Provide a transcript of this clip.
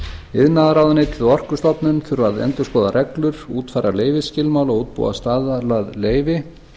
iðnaðarráðuneytið og orkustofnun þurfa að endurskoða reglur útfæra leyfisskilmála og útbúa staðlað leyfi